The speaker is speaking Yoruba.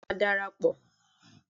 Béèni mo má darapọ